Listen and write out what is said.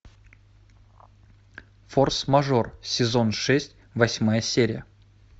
форс мажор сезон шесть восьмая серия